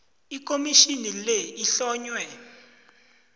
ikhomitjhini le ihlonywe